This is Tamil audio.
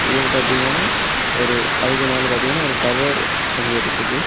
இது பாத்தீங்கன்னா ஒரு அதுக்கு மேல பாத்தீங்கன்னா ஒரு டவர் அங்க இருக்குது.